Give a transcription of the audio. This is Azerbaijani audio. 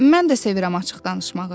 Mən də sevirəm açıq danışmağı.